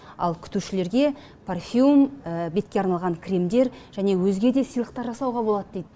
ал күтушілерге парфюм бетке арналған кремдер және өзге де сыйлықтар жасауға болады дейді